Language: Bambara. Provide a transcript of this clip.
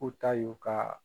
U ta y'u ka.